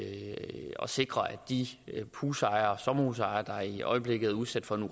og sikrer at de husejere og sommerhusejere der i øjeblikket er udsat for den